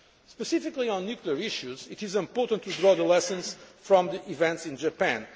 Specifically on nuclear issues, it is important to draw lessons from the events in Japan.